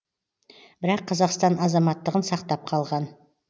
бірақ қазақстан азаматтығын сақтап қалған